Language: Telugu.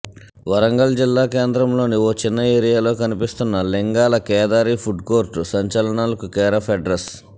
వరంగల్ జిల్లా కేంద్రంలోని ఓ చిన్న ఏరియాలో కనిపిస్తున్న లింగాల కేదారి ఫుడ్కోర్ట్ సంచలనాలకు కేరాఫ్ అడ్రెస్